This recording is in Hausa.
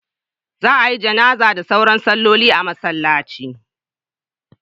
Za a yi Janazah da sauran salloli a masallaci.